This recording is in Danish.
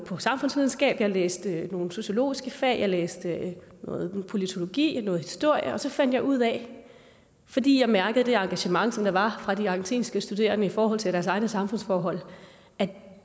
for samfundsvidenskab jeg læste nogle sociologiske fag jeg læste noget politologi noget historie og så fandt jeg ud af fordi jeg mærkede det engagement der var fra de argentinske studerende i forhold til deres egne samfundsforhold at